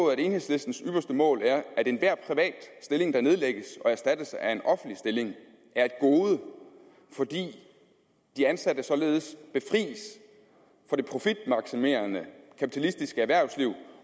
at enhedslistens ypperste mål er at enhver privat stilling der nedlægges og erstattes af en offentlig stilling er et gode fordi de ansatte således befries for det profitmaksimerende kapitalistiske erhvervsliv